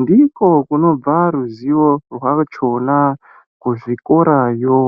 Ndiko kunobva ruzivo rwachona kuzvikorayo.